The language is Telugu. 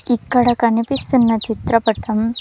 ఇక్కడ కనిపిస్తున్న చిత్రపటం--